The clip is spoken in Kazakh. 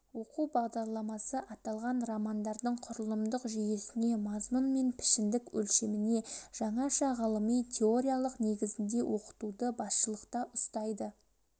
оқу бағдарламасы аталған романдардың құрылымдық жүйесіне мазмұн мен пішіндік өлшеміне жаңаша ғылыми теориялық негізінде оқытуды басшылықта ұстайды